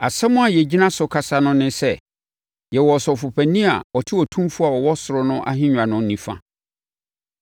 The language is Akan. Asɛm a yɛgyina so kasa no ne sɛ: Yɛwɔ Ɔsɔfopanin a ɔte Otumfoɔ a ɔwɔ ɔsoro no ahennwa no nifa.